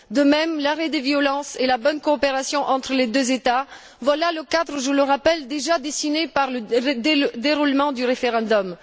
De même, l'arrêt des violences et la bonne coopération entre les deux États, voilà le cadre je le rappelle déjà dessiné par le déroulement du référendum.